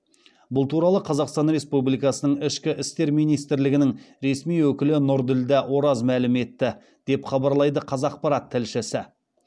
бұл туралы қазақстан республикасының ішкі істер министрлігінің ресми өкілі нұрділдә ораз мәлім етті деп хабарлайды қазақпарат тілшісі